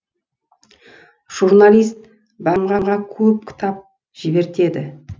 журналист бағымға көп кітап жібертеді